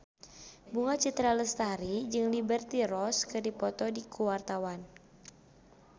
Bunga Citra Lestari jeung Liberty Ross keur dipoto ku wartawan